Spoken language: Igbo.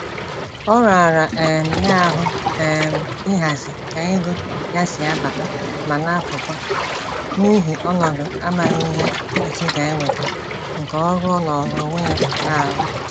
Ọ rara um ya ahụ um ihazi ka ego ya si abata ma napụkwa, n'ihi ọnọdụ amaghị ihe echi ga-eweta nke ọrụ ọ nọọrọ onwe ya na-arụ